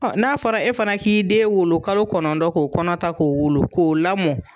n'a fɔra e fana k'i den wolo kalo kɔnɔntɔn k'o kɔnɔ ta k'o wolo k'o lamɔ